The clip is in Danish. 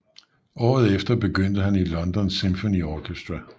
Året efter begyndte han i London Symphony Orchestra